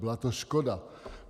Byla to škoda.